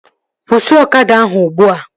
Kwụsị ọkada ahụ ugbua!